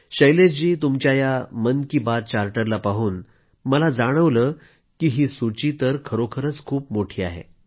शैलेश जी तुमच्या या मन की बात चार्टरला पाहून मला जाणवलं की ही सूची तर खरोखरीच खूप मोठी आहे